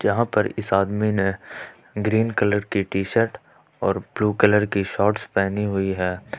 यहां पर इस आदमी ने ग्रीन कलर की टी शर्ट और ब्लू कलर की शॉर्ट्स पहनी हुई है।